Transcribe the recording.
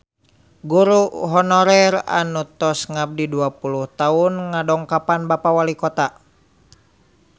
Guru honorer anu tos ngabdi dua puluh tahun ngadongkapan Bapak Walikota